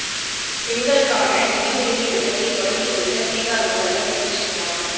பெண்களுக்கான நிதியுதவி திட்டத்தை தொடங்கி வைத்த பீகார் முதல்வர் நிதீஷ் குமார்